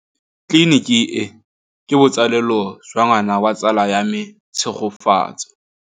Tleliniki e, ke botsalêlô jwa ngwana wa tsala ya me Tshegofatso.